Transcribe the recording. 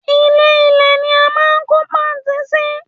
Ilè- ilé ní a máa n kó pààntí sí